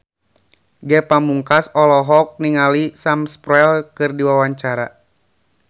Ge Pamungkas olohok ningali Sam Spruell keur diwawancara